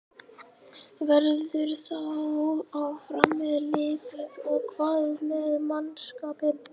Verður þú áfram með liðið og hvað með mannskapinn?